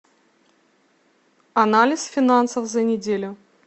анализ финансов за неделю